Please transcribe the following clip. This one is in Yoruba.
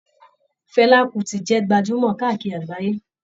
Fela Kuti jẹ gbajumọ káàkiri àgbáyé.